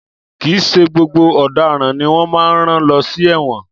Kìí ṣe gbogbo ọ̀dáran ni wọ́n má ń rán lọ sí ẹ̀wọn.